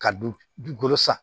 Ka dun dugukolo san